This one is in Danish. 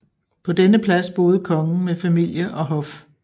På denne plads boede kongen med familie og hof